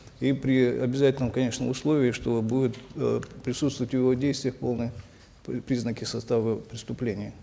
и при обязательном конечно условии что будут э присутствовать в его действиях полные признаки состава преступления